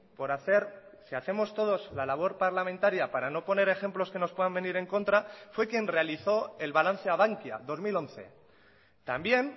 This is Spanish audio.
por hacer si hacemos todos la labor parlamentaria para no poner ejemplos que nos puedan venir en contra fue quien realizó el balance a bankia dos mil once también